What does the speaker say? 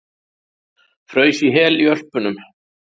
Fraus í hel í Ölpunum